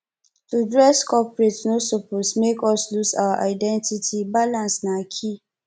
to dress corporate no suppose make us lose our identity balance na key